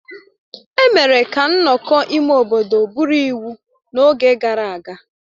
Emere ka nnọkọ ime obodo bụrụ iwu n'oge gara aga